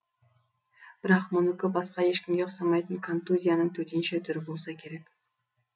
бірақ мұныкі басқа ешкімге ұқсамайтын контузияның төтенше түрі болса керек